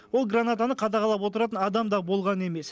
ол гранатаны қадағалап отыратын адам да болған емес